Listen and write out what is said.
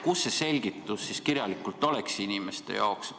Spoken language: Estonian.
Kus see selgitus siis kirjalikult on inimeste jaoks?